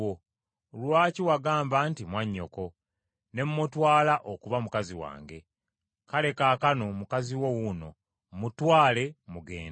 Lwaki wagamba nti mwannyoko, ne mmutwala okuba mukazi wange? Kale kaakano mukazi wo wuuno mmutwale mugende.”